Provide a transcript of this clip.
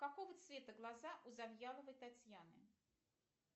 какого цвета глаза у завьяловой татьяны